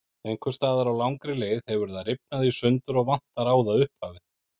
Einhvers staðar á langri leið hefur það rifnað í sundur og vantar á það upphafið.